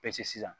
sisan